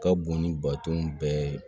Ka bon ni baton bɛɛ ye